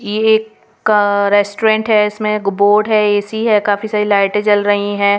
ये एक रेस्टोरेंट है इसमें बोर्ड है ए_सी है काफी सारी लाइटें जल रही है.